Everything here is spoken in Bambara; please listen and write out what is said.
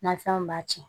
Nafɛnw b'a ci